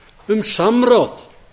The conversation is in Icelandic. um samráð